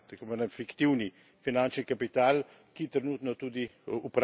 fiktivni finančni kapital, ki trenutno tudi upravlja svet.